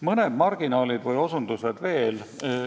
Mõned marginaalid ja osutused veel.